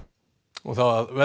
og þá að veðri